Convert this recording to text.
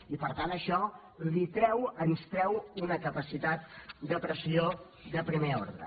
i per tant això li treu ens treu una capacitat de pressió de primer ordre